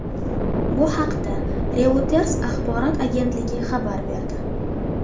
Bu haqda Reuters axborot agentligi xabar berdi .